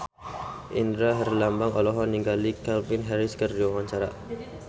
Indra Herlambang olohok ningali Calvin Harris keur diwawancara